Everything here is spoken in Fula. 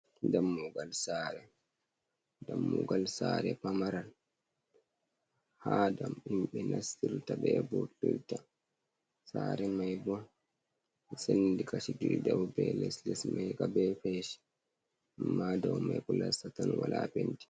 Dammugal sare, dammugal sare pamaran ha dam himɓe nastirta ɓe vurtira, sare mai bo sendi kashi ɗiɗi dau be les, les mai ka be feshi amma dow mai plasta tan wala feshi.